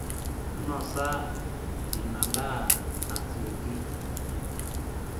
nosa inadaaa asioki